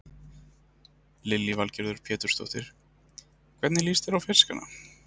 Lillý Valgerður Pétursdóttir: Hvernig líst þér á fiskana?